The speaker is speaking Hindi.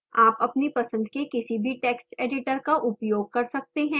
आप अपनी पसंद के किसी भी text editor का उपयोग कर सकते हैं